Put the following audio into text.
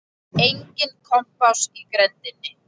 Enginn kompás í grenndinni.